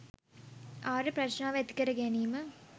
ආර්ය ප්‍රඥාව ඇතිකර ගැනීම.